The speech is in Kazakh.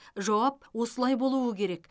жауап осылай болуы керек